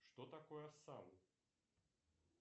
что такое сан